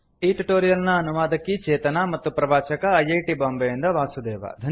ಈ ಟ್ಯುಟೋರಿಯಲ್ ನ ಅನುವಾದಕಿ ಚೇತನಾ ಮತ್ತು ಪ್ರವಾಚಕ ಐ ಐ ಟಿ ಬಾಂಬೆಯಿಂದ ವಾಸುದೇವ